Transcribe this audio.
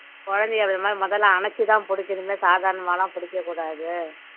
குழந்தையை அதேமாரி முதல்ல அணைச்சுதான் புடிக்கணுமே சாதாரணமாலாம் பிடிக்கக்கூடாது